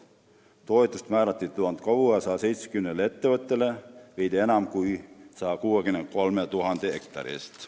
Toetus määrati 1670 ettevõttele veidi enam kui 163 000 hektari eest.